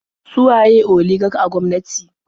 Su waye oligak a gwamnati?